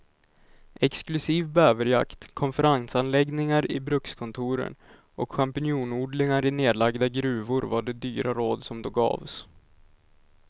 Exklusiv bäverjakt, konferensanläggningar i brukskontoren och champinjonodlingar i nedlagda gruvor var de dyra råd som då gavs.